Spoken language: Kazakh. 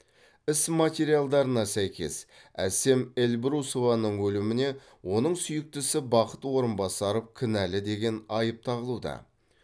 іс материалдарына сәйкес әсем эльбрусованың өліміне оның сүйіктісі бақыт орынбасаров кінәлі деген айып тағылуда